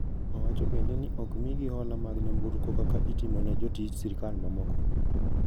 Owacho bende ni okmigi hola mag nyamburko kaka itimo ne jotij sirkal mamoko.